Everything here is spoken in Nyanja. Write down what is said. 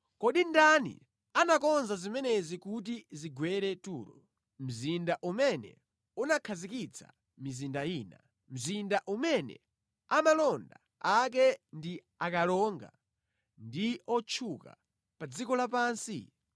Kodi ndani anakonza zimenezi kuti zigwere Turo, mzinda umene unakhazikitsa mizinda ina, mzinda umene amalonda ake ndi akalonga ndi otchuka pa dziko lapansi?